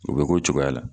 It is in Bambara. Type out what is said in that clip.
U bɛ k'o cogoya la